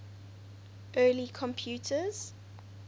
early computers